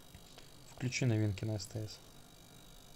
включи новинки на стс